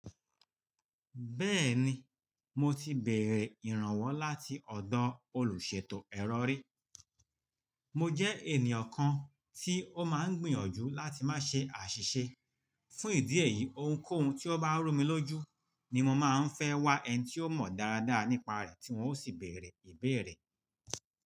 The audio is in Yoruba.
Bẹ́ẹ̀ni, mo ti bèerè ìrànwọ́ láti ọ̀dọ̀ olùṣètò ẹrọ ri. Mo jẹ́ ènìyàn kan tí ó máa ń gbìyànjú láti má ṣe àṣìṣe. Fún ìdí èyí, ohunkóhun tí ó bá rú mi lójú ni mo máa ń fẹ́ wá ẹni tí ó mọ̀ dáradára nípa rẹ̀ tí wọn ó sì bèrè ìbéèrè.